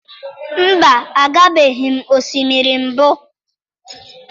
Mba, agabeghị m osimiri mbụ.